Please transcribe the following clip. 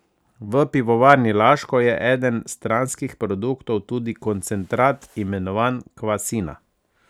V Pivovarni Laško je eden stranskih produktov tudi koncentrat, imenovan kvasina.